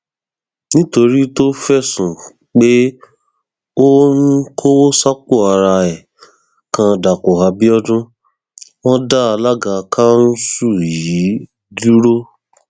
nítorí tó fẹsùn pé ó ń kọwọ sápò ara ẹ kan dàpọ abiodun wọn dá alága kanṣu yìí dúró